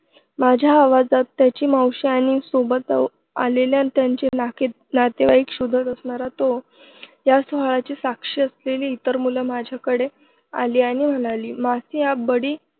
माझ्या आवाजात त्याची मावशी आणि सोबत आलेल्यांमध्ये त्याचे नातेवाईक शोधत असणार तो. ह्या सोहळ्याची साक्षी असलेली इतर मुलं माझ्याकडे आली आणि म्हणाली मासी, आप बड़ी